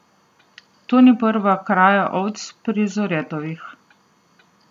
To ni prva kraja ovc pri Zoretovih.